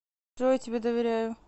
джой я тебе доверяю